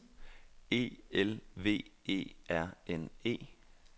E L V E R N E